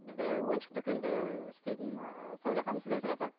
бізде ойыншық дүкенінде істейтін і сәуле ханым сізден сұрасақ